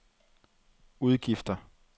udgifter